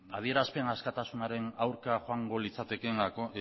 adierazpen askatasunaren aurka joango litzatekeen